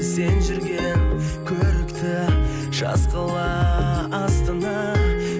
сен жүрген көрікті жас қала астана